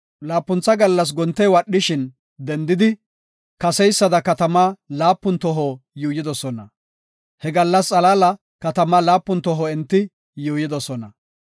Laapuntha gallas gontey wadhishin dendidi, kaseysada katama laapun toho yuuyidosona. He gallasa xalaala katamaa laapun toho enti yuuyidosona.